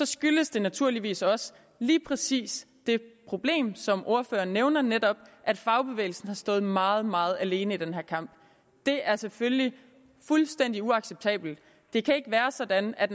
skyldes det naturligvis også lige præcis det problem som ordføreren nævner netop at fagbevægelsen har stået meget meget alene i den her kamp det er selvfølgelig fuldstændig uacceptabelt det kan ikke være sådan at